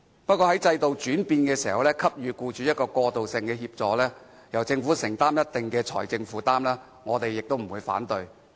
不過，在制度轉變時給予僱主過渡性協助，由政府作出一定的財政承擔，我們不會反對。